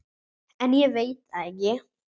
En ég veit það ekki.